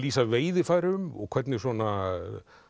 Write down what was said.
lýsa veiðarfærum og hvernig svona